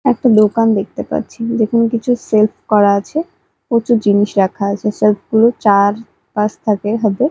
একটা দোকান দেখতে পাচ্ছি যেখানে কিছু শেল্ফ করা আছে প্রচুর জিনিস রাখা আছে শেল্ফ -গুলো চার পাঁচ থাকের হবে।